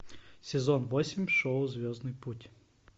сезон восемь шоу звездный путь